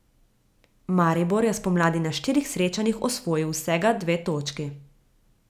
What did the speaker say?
Maribor je spomladi na štirih srečanjih osvojil vsega dve točki.